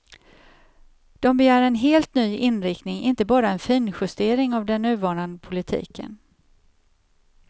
De begär en helt ny inriktning, inte bara en finjustering av den nuvarande politiken.